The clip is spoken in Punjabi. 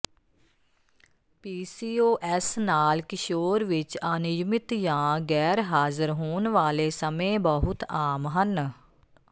ਪੀਸੀਓਐਸ ਨਾਲ ਕਿਸ਼ੋਰ ਵਿੱਚ ਅਨਿਯਮਿਤ ਜਾਂ ਗੈਰ ਹਾਜ਼ਰ ਹੋਣ ਵਾਲੇ ਸਮੇਂ ਬਹੁਤ ਆਮ ਹਨ